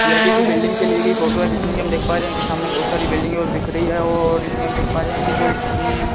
यह किसी बिल्डिंग से ली गई फोटो है जिसमें की हम देख पा रहे हैं कि सामने बहोत सारी बिल्डिंग और दिख रही है और इसमें देख पा रहे हैं कि जो इसमें --